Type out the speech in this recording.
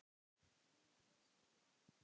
Guð blessi þig, amma.